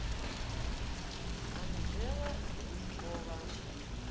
анжела глушкова